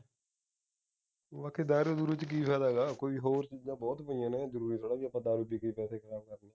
ਤੂੰ ਆਖੀ ਦਾਰੂ ਦੁਰੁ ਦੇ ਵਿੱਚ ਕੀ ਫਾਇਦਾ ਹੈਗਾ ਬਈ ਹੋਰ ਚੀਜ਼ਾਂ ਬਹੁਤ ਪਾਈਆਂ ਨੇ ਜਰੂਰੀ ਥੋਹੜੀ ਰਹਿ ਕੇ ਆਪਾ ਦਾਰੂ ਪੀ ਕੇ ਹੀ ਪੈਸੇ ਖਰਾਬ ਕਰਨੇ ਨੇ